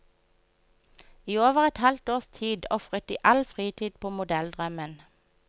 I over et halvt års tid ofret de all fritid på modelldrømmen.